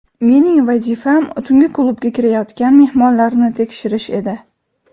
Mening vazifam tungi klubga kirayotgan mehmonlarni tekshirish edi.